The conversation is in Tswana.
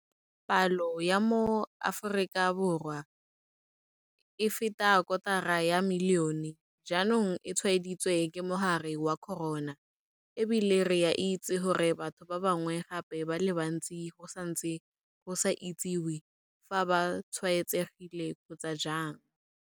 Palo ya maAforika Borwa a feta kotara ya milione jaanong e tshwaeditswe ke mogare wa corona, e bile re a itse gore batho ba bangwe gape ba le bantsi go santse go sa itsiwe fa ba tshwaetsegile kgotsa jang.